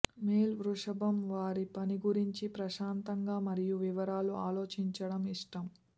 male వృషభం వారి పని గురించి ప్రశాంతంగా మరియు వివరాలు ఆలోచించడం ఇష్టం